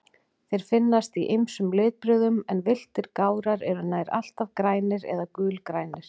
Þeir finnast í ýmsum litbrigðum, en villtir gárar eru nær alltaf grænir eða gulgrænir.